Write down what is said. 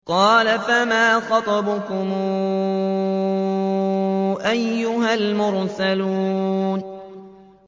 قَالَ فَمَا خَطْبُكُمْ أَيُّهَا الْمُرْسَلُونَ